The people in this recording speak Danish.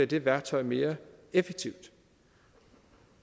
det værktøj mere effektivt